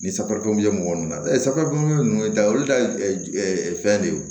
Ni safa dɔn ye mɔgɔ min na safunɛ kɛ ninnu dalu da fɛn de don